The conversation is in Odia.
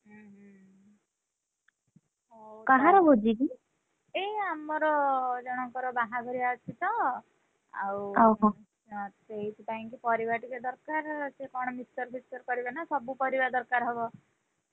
ଏଇ ଆମର ଜଣଙ୍କର ବାହାଘରିଆଅଛି ତ, ଆଉ ହଁ, ସେଇଥି ପାଇଁକି ପରିବା ଟିକେ ଦରକାର ସେ କଣ mixture ଫିକଶ୍ଚର କରିବେ ନା ସବୁ ପରିବା ଦରକାର ହବ,